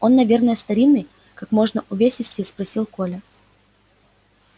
он наверно старинный как можно увесистее спросил коля